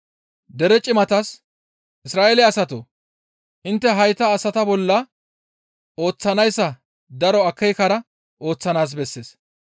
Dere cimatas, «Isra7eele asatoo! Intte hayta asata bolla ooththanayssa daro akeekara ooththanaas bessees.